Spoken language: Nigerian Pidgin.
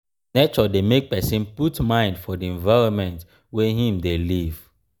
nature de make persin put mind for di environment wey im de live